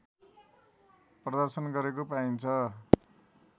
प्रदर्शन गरेको पाइन्छ